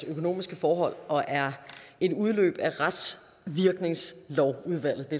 økonomiske forhold og er en udløber af retsvirkningslovsudvalgets det